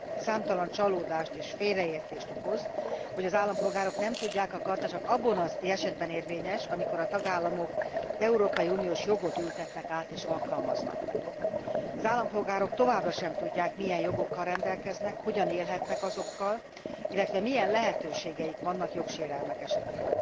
Számtalan csalódást és félreértést okoz, hogy az állampolgárok nem tudják a charta csak abban az esetben érvényes, amikor a tagállamok európai uniós jogot ültetnek át és alkalmaznak. Az állampolgárok továbbra sem tudják milyen jogokkal rendelkeznek, hogyan élhetnek azokkal, illetve milyen lehetőségeik vannak jogsérelmek esetén.